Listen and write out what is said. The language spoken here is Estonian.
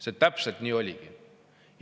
See täpselt nii oligi!